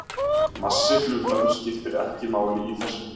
Massi hlutarins skiptir ekki máli í þessu.